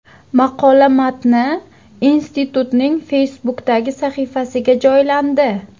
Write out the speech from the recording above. Maqola matni institutning Facebook’dagi sahifasiga joylandi .